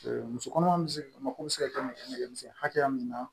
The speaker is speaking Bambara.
muso kɔnɔma bɛ se ka mako be se ka kɛ nɛgɛmisɛnnin hakɛya min na